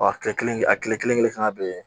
Ɔ kile kelen a kile kelen fana be yen